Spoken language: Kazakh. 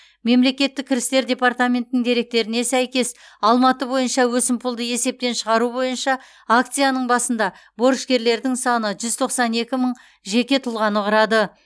мемлекеттік кірістер департаментінің деректеріне сәкес алматы бойынша өсімпұлды есептен шығару бойынша акцияның басында борышкерлердің саны жүз тоқсан екі мың жеке тұлғаны құрады